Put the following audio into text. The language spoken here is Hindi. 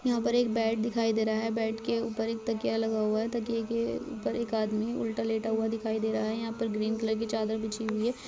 यहाँ पर एक बेड दिखाई दे रहा है। बेड के ऊपर एक तकिया लगा हुआ है। तकिया के ऊपर एक आदमी उल्टा लेता हुआ दिखाई दे रहा है। यहाँ पर ग्रीन कलर की चादर बिछी हुई है।